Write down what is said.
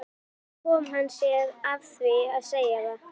Þar kom hann sér að því að segja það.